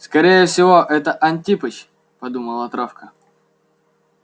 скорее всего это антипыч подумала травка